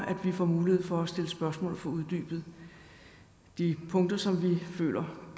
at vi får mulighed for at stille spørgsmål og få uddybet de punkter som vi føler